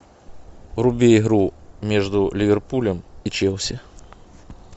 вруби игру между ливерпулем и челси